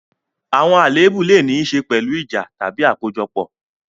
Àwọn àléébù lè ní í ṣe pẹ̀lú ìjà tàbí àkójọpọ̀.